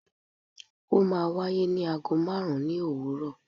o ma wàyé ni àgó marún ni owúrò